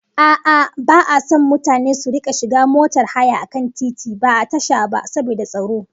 A'a, ba'a son mutane su rika shiga motar haya a kan titi, ba a tasha ba, saboda tsaro